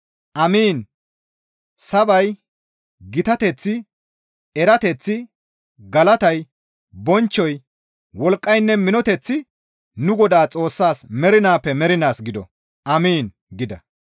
«Amiin! Sabay, gitateththi, erateththi, galatay, bonchchoy, wolqqaynne minoteththi nu Godaas Xoossaas mernaappe mernaas gido. Amiin!» gida.